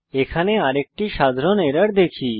এখন আরেকটি সাধারণ এরর দেখি